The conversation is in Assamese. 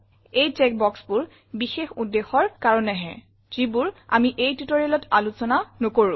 এই চেক boxবোৰ বিশেষ উদ্দেশ্যৰ কাৰণেহে যিবোৰ আমি এই tutorialত আলোচনা নকৰো